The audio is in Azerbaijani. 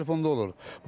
Gözləri telefonda olur.